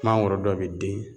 Mangoro dɔw be den